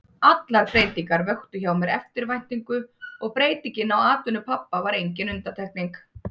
Allar breytingar vöktu hjá mér eftirvæntingu og breytingin á atvinnu pabba var engin undantekning.